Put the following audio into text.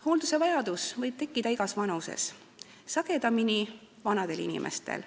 Hooldusvajadus võib tekkida igas vanuses, sagedamini tekib see vanadel inimestel.